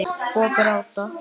Og gráta.